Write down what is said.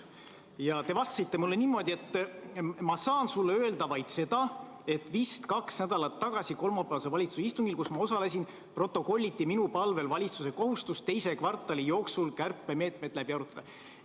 Tookord te vastasite mulle niimoodi: "Ma saan sulle öelda vaid seda, et vist kaks nädalat tagasi kolmapäevasel valitsuse istungil, kus ma osalesin, protokolliti minu palvel valitsuse kohustus teise kvartali jooksul kärpemeetmed läbi arutada, misjärel saaks neid rakendama hakata.